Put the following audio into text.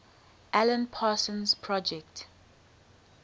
alan parsons project